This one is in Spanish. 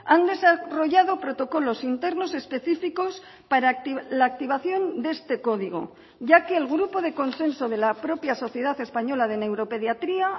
han desarrollado protocolos internos específicos para la activación de este código ya que el grupo de consenso de la propia sociedad española de neuropediatría